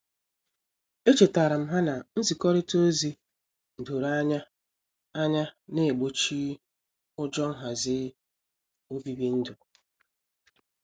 Echetaram ha na-nzikorita ozi doro anya anya na-egbochi ụjọ nhazi obibi ndu.